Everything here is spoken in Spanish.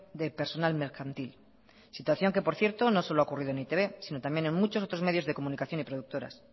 de personal mercantil situación que por cierto no solo ha ocurrido en e i te be si no también en otros medios de comunicación y productoras